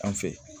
An fɛ